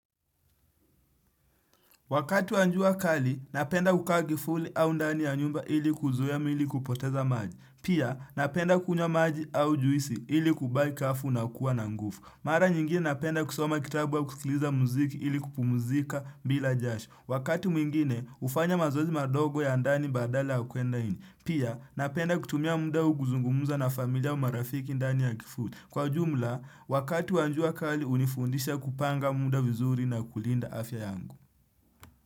Wakati wa jua kali napenda kukaa kivuli au ndani ya nyumba ili kuzuia mwili kupoteza maji. Pia, napenda kunywa maji au juisi ili kubai kafu na kuwa na nguvu. Mara nyingine napenda kusoma kitabu wa kusikiliza muziki ili kupumzika bila jasho. Wakati mwingine hufanya mazoezi madogo ya ndani badala ya kuenda nje. Pia, napenda kutumia mda huu kuzungumza na familia au marafiki ndani ya kivuli. Kwa jumla, wakatu wanjua kali, unifundisha kupanga munda vizuri na kulinda afya yangu.